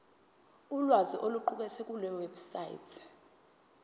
ulwazi oluqukethwe kulewebsite